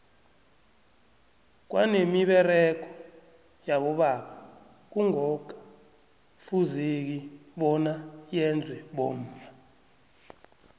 kwanemiberego yabobaba kungoka fuzeki bona yenzwe bomma